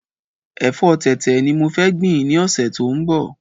Èfọ́ tẹ̀tẹ̀ ni mo fẹ gbìn ni ọ̀sẹ̀ tó ń bọ̀